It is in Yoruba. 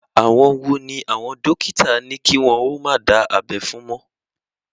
Àwọn wo ni àwọn dókítà ní kí wọ́n ó má dá abẹ́ fún mọ́?